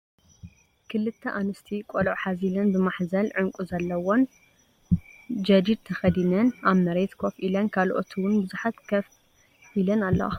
ክልተ ኣንስቲ ቆልዑ ሓዚለን ብማሕዘል ዕንቄ ዘለዎ ን ጀዲድ ተከዲነን ኣብ መሬት ኮፍ ኢለን ካልኦት እዉን ብዙሓት ኮፍ ኢለን ኣልዋ።